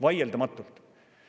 Vaieldamatult!